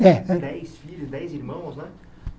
É Dez filhos, dez irmãos, né?